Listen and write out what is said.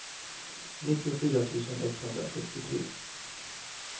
nittiofyra tusen etthundrafyrtiotre